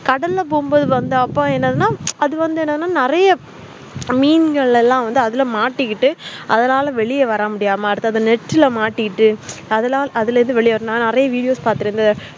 கடல போகும்போத என்னனா அது வந்து என்னன்னா நெறைய மீன்கள் எல்லாம் அதுல மாட்டிகிட்டு அதுனால வெளிய வரமுடியாம net மாட்டிக்கிட்டு அதலாம் அதுல இருந்து நெறியா videos பாத்துருந்து